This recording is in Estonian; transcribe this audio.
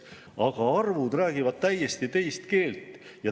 Aga arvud räägivad täiesti teist keelt.